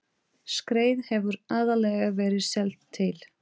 Skreið hefur aðallega verið seld til